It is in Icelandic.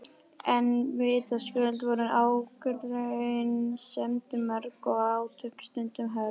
En vitaskuld voru ágreiningsefnin mörg og átök stundum hörð.